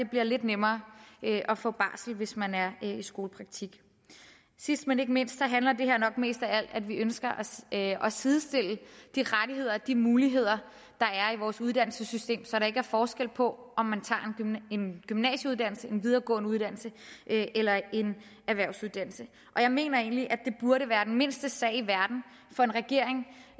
bliver lidt nemmere at få barsel hvis man er i skolepraktik sidst men ikke mindst handler det her nok mest af alt om at vi ønsker at sidestille de rettigheder og de muligheder der er i vores uddannelsessystem så der ikke er forskel på om man tager en gymnasieuddannelse en videregående uddannelse eller en erhvervsuddannelse og jeg mener egentlig at det burde være den mindste sag i verden for en regering